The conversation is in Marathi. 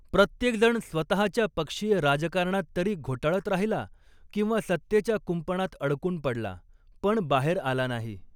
प्रत्येकजण स्वतःच्या पक्षीय राजकारणात तरी घोटाळत राहिला किंवा सत्तेच्या कुंपणात अडकून पडला, पण बाहेर आला नाही.